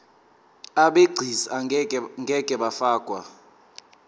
abegcis ngeke bafakwa